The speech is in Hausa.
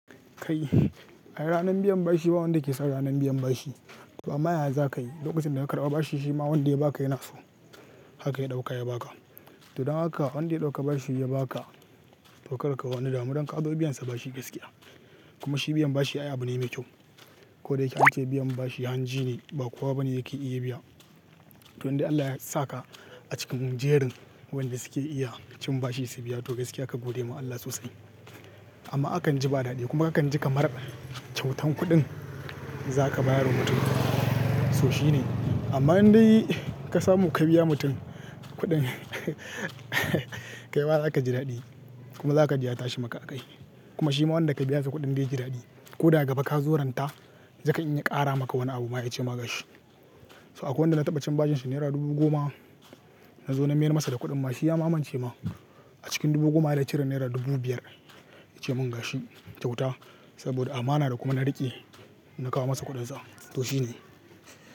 Kai, ai ranan biyan bashi ba wanda ke san ranan biyan bashi. To amma yaya za ka yi? Lokacin da ka karɓa bashi shi ma wanda ya ba ka yana so haka ya ɗauka ya ba ka. To don haka wanda ya ɗauka bashi ya ba ka tokarka wani damu don ka zo biyan sa bashi gaskiya. Kuma shi biyan bashi ay abu ne mai kyau. Ko da yake an ce biyan bashi hanji ne ba kowa bane yake iya biya. To in dai Allah ya sa ka a cikin jerin wanda su ke iya cin bashi su biya to gaskiya ka gode ma Allah sosai. Amma akan ji ba daɗi kuma kakan ji kamar kyautan kuɗin za ka bayar wa mutum. So shi ne. Amma in dai ka samu ka biya mutum kuɗin kai mazaka ji daɗi kuma zakaji ya tashi maka a kai. Kuma shi ma wanda ka biya sa kuɗin zai ji daɗi. Ko daga gaba ka zo ranta zai kan in ya ƙara maka wani abu ma ya ce ma gashi. So akwai wanda na taɓa cin bashin sa naira dubu goma. Na zo na mayar masa da kuɗin ma shi ya mamance ma. A cikin dubu goma ya cire naira dubu biyar ya ce mun gashi kyauta saboda amana da kuma na riƙe na kawo masa kuɗin sa. To shi ne.